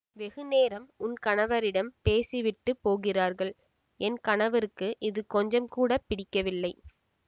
வெகு நேரம் உன் கணவரிடம் பேசிவிட்டுப் போகிறார்கள் என் கணவருக்கு இது கொஞ்சங்கூடப் பிடிக்கவில்லை